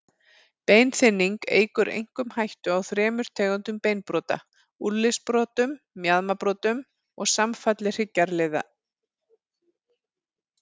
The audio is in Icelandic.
Beinþynning eykur einkum hættu á þremur tegundum beinbrota, úlnliðsbrotum, mjaðmarbrotum og samfalli hryggjarliða.